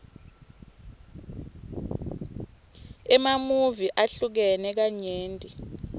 emamuvi ahlukene kanyenti